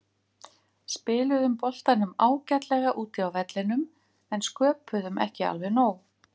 Spiluðum boltanum ágætlega úti á vellinum en sköpuðum ekki alveg nóg.